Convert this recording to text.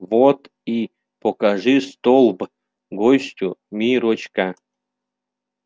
вот и покажи столб гостю миррочка